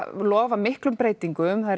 lofa miklum breytingum þær